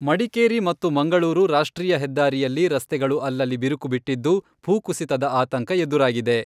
ಮಡಿಕೇರಿ ಮತ್ತು ಮಂಗಳೂರು ರಾಷ್ಟ್ರೀಯ ಹೆದ್ದಾರಿಯಲ್ಲಿ ರಸ್ತೆಗಳು ಅಲ್ಲಲ್ಲಿ ಬಿರುಕು ಬಿಟ್ಟಿದ್ದು ಭೂ ಕುಸಿತದ ಆತಂಕ ಎದುರಾಗಿದೆ.